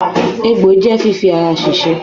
Egbò je fífi ara ṣèṣe.